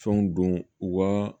Fɛnw don u ka